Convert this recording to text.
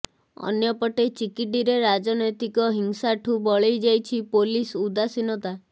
ଅନ୍ୟପଟେ ଚିକିଟିରେ ରାଜନୈତିକ ହିଂସାଠୁ ବଳେଇ ଯାଇଛି ପୋଲିସ ଉଦାସିନତା